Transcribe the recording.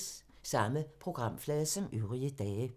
Samme programflade som øvrige dage